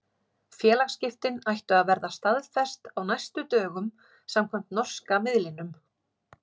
Félagsskiptin ættu að verða staðfest á næstu dögum samkvæmt norska miðlinum.